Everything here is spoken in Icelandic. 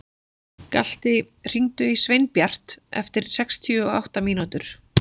Galti, hringdu í Sveinbjart eftir sextíu og átta mínútur.